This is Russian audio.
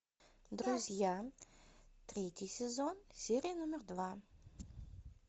друзья третий сезон серия номер два